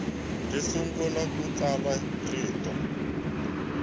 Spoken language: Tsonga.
si sungula ku tsala ntirho